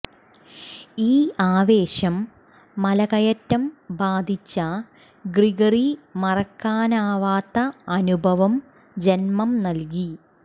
ഈ ആവേശം മലകയറ്റം ബാധിച്ച ഗ്രിഗറി മറക്കാനാവാത്ത അനുഭവം ജന്മം നൽകി